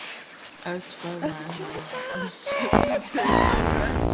Örn faðmaði hana að sér og þau hlógu öll.